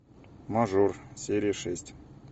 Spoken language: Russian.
мажор серия шесть